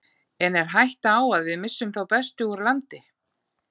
En er hætta á að við missum þá bestu úr landi?